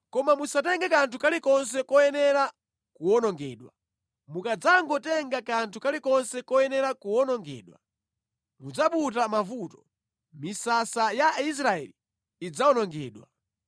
Koma musatenge kanthu kalikonse koyenera kuwonongedwa. Mukadzangotenga kanthu kalikonse koyenera kuwonongedwa, mudzaputa mavuto, misasa ya Israeli idzawonongedwa.